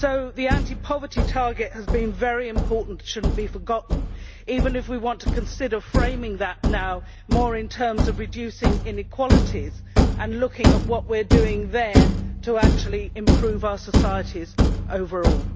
The anti poverty target has been very important and should not be forgotten, even if we want to consider framing that now more in terms of reducing inequalities and looking at what we are doing there to improve our societies overall.